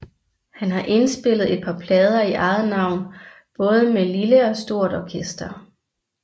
Han har indspillet et par plader i eget navn både med lille og stort orkester